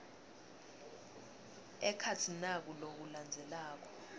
ekhatsi naku lokulandzelako